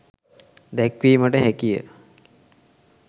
දැක්වීමට හැකිය.